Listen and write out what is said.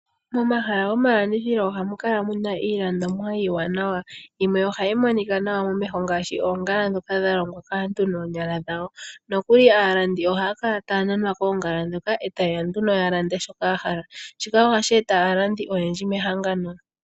Momahala gomalandithilo ohamu kala iilandithomwa iiwanawa, yimwe ohayi monika nawa momeho ngaashi oongala ndhoka dha longwa kaantu noonyala dhawo, nokuli aalandi ohaya kala taya nanwa koongala ndhoka eta yeya nduno ya lande shoka ya hala, shika ohashi eta aalandi oyendji mehangano.